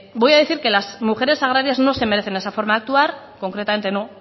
voy a decir que las mujeres agrarias no se merecen esa forma de actuar concretamente no